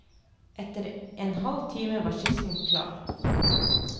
Etter en halv time var skissen klar.